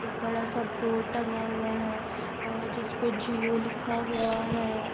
एक बड़ा सा बोर्ड टंगा हुआ है अ जिसपे जिओ लिखा हुआ है।